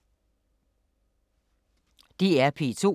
DR P2